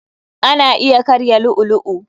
Ana iya karya lu'u lu'u.